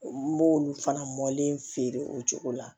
N b'olu fana mɔlen feere o cogo la